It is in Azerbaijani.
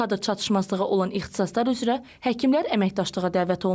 Kadr çatışmazlığı olan ixtisaslar üzrə həkimlər əməkdaşlığa dəvət olunur.